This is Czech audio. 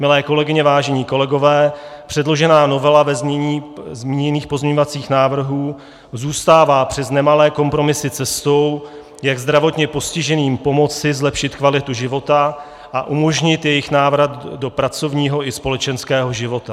Milé kolegyně, vážení kolegové, předložená novela ve znění zmíněných pozměňovacích návrhů zůstává přes nemalé kompromisy cestou, jak zdravotně postiženým pomoci zlepšit kvalitu života a umožnit jejich návrat do pracovního i společenského života.